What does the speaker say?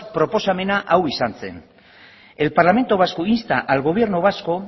proposamena hau izan zen el parlamento vasco insta al gobierno vasco